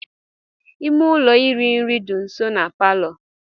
Ime ụlọ iri nri dị nso na palọ.